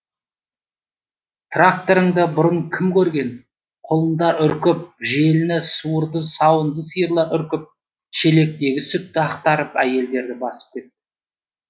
тракторыңды бұрын кім көрген құлындар үркіп желіні суырды сауынды сиырлар үркіп шелектегі сүтті ақтарып әйелдерді басып кетті